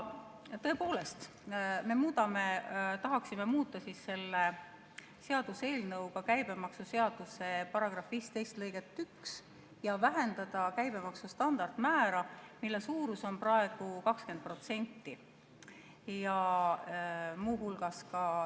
Tõepoolest, me tahaksime selle seaduseelnõuga muuta käibemaksuseaduse § 15 lõiget 1 ja vähendada käibemaksu standardmäära, mille suurus on praegu 20%.